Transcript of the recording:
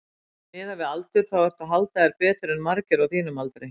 Miðað við aldur þá ertu að halda þér betur en margir á þínum aldri?